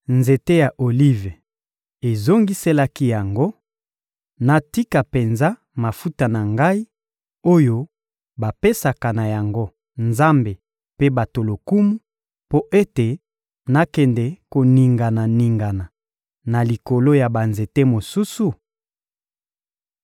Nzete ya Olive ezongiselaki yango: ‹Natika penza mafuta na ngai, oyo bapesaka na yango Nzambe mpe bato lokumu, mpo ete nakende koningana-ningana na likolo ya banzete mosusu?›